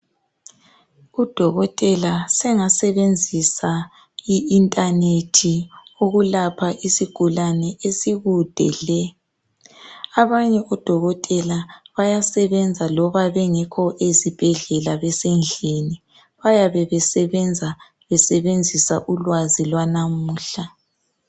Udokotela sengasebenzisa i internet ukulapha isigulane esikude le. Abanye odokotela bayasebenza loba bengekho ezibhedlela besendlini .Bayabe besebenza besebenzisa ulwazi lwanamuhla.